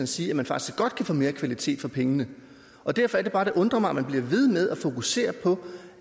sige at man faktisk godt kan få mere kvalitet for pengene derfor er det bare det undrer mig at man bliver ved med at fokusere på